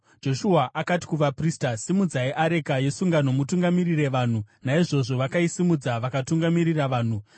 Joshua akati kuvaprista, “Simudzai areka yesungano mutungamirire vanhu.” Naizvozvo vakaisimudza vakatungamirira vanhu.